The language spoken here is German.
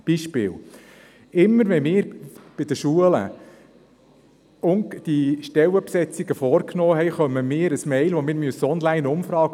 Ein Beispiel: Immer, wenn wir in Schulen Stellen besetzen, erhalten wir ein E-Mail mit einer Onlineumfrage.